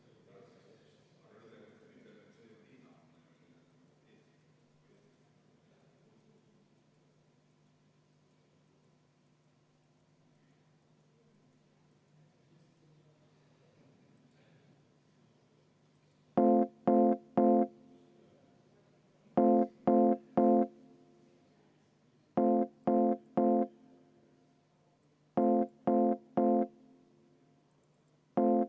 Muudatusettepanekut toetab 54 saadikut, vastu on 0 ja erapooletuid 1.